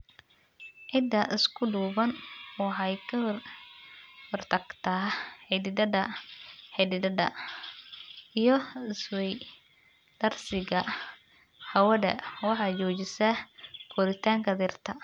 Ciidda isku duuban waxay ka hortagtaa xididada xididada iyo isweydaarsiga hawada, waxay joojisaa koritaanka dhirta.